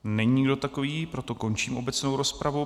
Není nikdo takový, proto končím obecnou rozpravu.